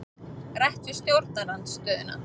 Rætt við stjórnarandstöðuna